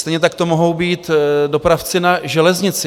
Stejně tak to mohou být dopravci na železnici.